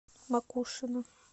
макушино